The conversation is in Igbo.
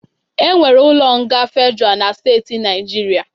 E nwere ụlọ nga fedra na steeti n'Naijiria